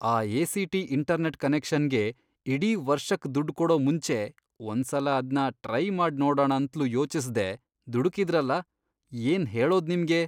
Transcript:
ಆ ACT. Internet ಕನೆಕ್ಷನ್ಗೆ ಇಡೀ ವರ್ಷಕ್ ದುಡ್ಡ್ ಕೊಡೋ ಮುಂಚೆ ಒಂದ್ಸಲ ಅದ್ನ ಟ್ರೈ ಮಾಡ್ ನೋಡಣ ಅಂತ್ಲೂ ಯೋಚಿಸ್ದೇ ದುಡುಕಿದ್ರಲ, ಏನ್ ಹೇಳೋದ್ ನಿಮ್ಗೆ?!